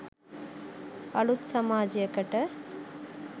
අලුත් සමාජයකට